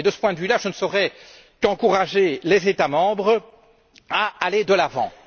Et, de ce point de vue, je ne saurais qu'encourager les États membres à aller de l'avant.